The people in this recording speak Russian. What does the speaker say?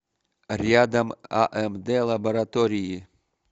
рядом амд лаборатории